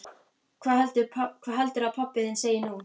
Hvað heldurðu að pabbi þinn segi nú?